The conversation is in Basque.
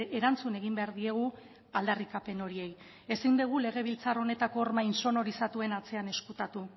erantzun egin behar diegu aldarrikapen horiei ezin dugu legebiltzar honetako orma intsonorizatuen atzean ezkutatu